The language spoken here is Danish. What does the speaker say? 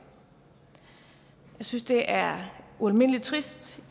synes det er ualmindelig trist